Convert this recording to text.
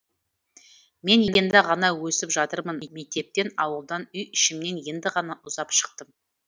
мен енді ғана өсіп жатырмын мектептен ауылдан үй ішімнен енді ғана ұзап шықтым